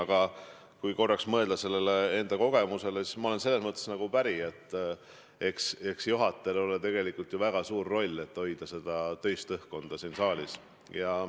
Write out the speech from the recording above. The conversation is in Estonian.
Aga kui korraks mõelda enda kogemusele, siis ma olen päri, et juhatajal on tegelikult väga suur roll: ta peab hoidma siin saalis töist õhkkonda.